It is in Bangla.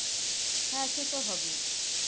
হ্যা সেতো হবেই.